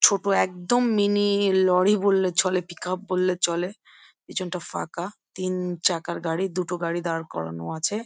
ছোট একদম mini lorry বললে চলে পিক উপ বললে চলে পেছনটা ফাঁকা তিন চাকার গাড়ি দুটো গাড়ি দাঁড় করানো আছে।